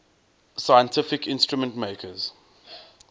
scientific instrument makers